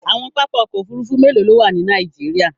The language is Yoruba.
Àwọn pápá òkò òfúrùfú mélò ló wà ní Nàìjíríà?